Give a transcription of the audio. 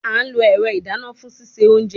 A lo ẹrọ idana fun sise ounje